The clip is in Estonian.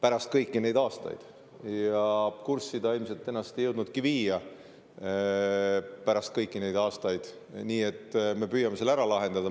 Kurssi ta ennast ilmselt ei jõudnudki viia, pärast kõiki neid aastaid, nii et me püüame selle ise ära lahendada.